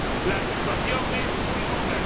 La situación es muy dura.